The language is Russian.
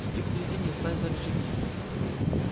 иди к дрезине и встань за рычаги